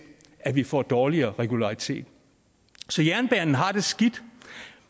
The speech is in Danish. at vi får dårligere regularitet jernbanen har det skidt